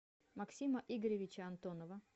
максима игоревича антонова